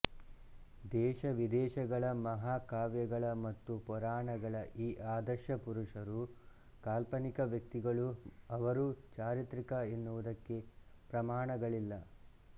ದೇಶವಿದೇಶಗಳ ಮಹಾಕಾವ್ಯಗಳ ಮತ್ತು ಪುರಾಣಗಳ ಈ ಆದರ್ಶ ಪುರುಷರು ಕಾಲ್ಪನಿಕ ವ್ಯಕ್ತಿಗಳು ಅವರು ಚಾರಿತ್ರಿಕ ಎನ್ನುವುದಕ್ಕೆ ಪ್ರಮಾಣಗಳಿಲ್ಲ